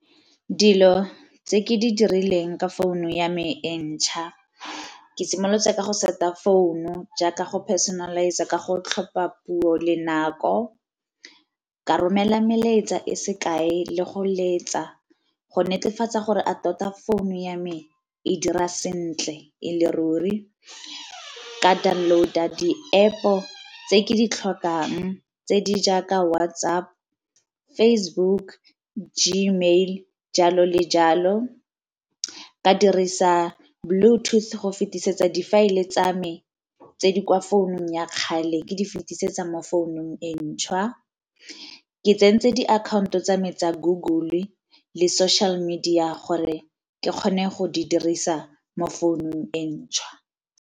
Dilo tse ke di dirilweng ka founu ya me e ntšha ke simolotse ka go set-a founu jaaka go personalise-a ka go tlhopha puo le nako. Ka romela melaetsa e sekae le go letsa go netefatsa gore a tota phone ya me e dira sentle e le ruri. Ka download-a di-App-o tse ke di tlhokang tse di jaaka WhatsApp, Facebook, Gmail, jalo le jalo. Ke a dirisa bluetooth go fetisetsa difaele tsa me tse di kwa founung ya kgale ke di fetisetsa mo founung e ntšhwa, ke tsentse diakhaonto tsa me tsa Google le social media gore ke kgone go di dirisa mo founung e ntšha.